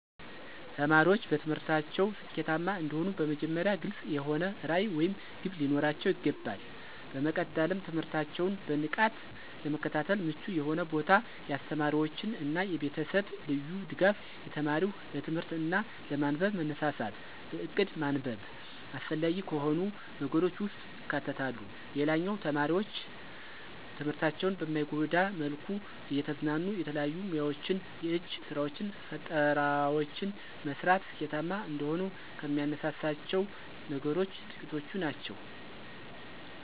ተማሪዎች በትምህርታቸው ስኬታማ እንዲሆኑ በመጀመሪያ ግልፅ የሆነ ራዕይ ወይም ግብ ሊኖራቸው ይገባል። በመቀጠልም ትምህርታቸውን በንቃት ለመከታተል ምቹ የሆነ ቦታ፣ የአስተማሪዎች እና የቤተሰብ ልዩ ድጋፍ፣ የተማሪው ለትምህርት እና ለማንበብ መነሳሳት፣ በእቅድ ማንበብ አስፈላጊ ከሆኑ ነገሮች ውስጥ ይካተታሉ። ሌላው ተማሪዎች ትምህርታቸውን በማይጎዳ መልኩ እየተዝናኑ የተለያዩ ሙያወችን፣ የእጅ ስራወችን፣ ፈጠራወችን መስራት ስኬታማ እንደሆኑ ከሚያነሳሳቸው ነገሮች ጥቂቶቹ ናቸው።